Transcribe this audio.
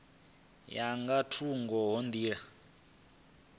ya nga thungo ha nḓila